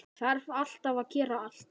Þarf alltaf að gera allt.